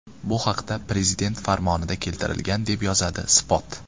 Bu haqda Prezident farmonida keltirilgan , deb yozadi Spot.